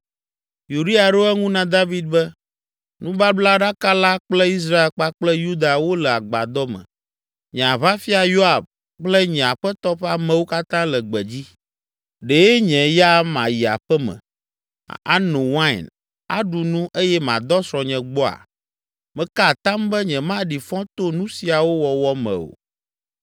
Uria ɖo eŋu na David be, “Nubablaɖaka la kple Israel kpakple Yuda wole agbadɔ me. Nye aʋafia Yoab kple nye aƒetɔ ƒe amewo katã le gbedzi. Ɖe nye ya mayi aƒe me, ano wain, aɖu nu eye madɔ srɔ̃nye gbɔa? Meka atam be nyemaɖi fɔ to nu siawo wɔwɔ me o.”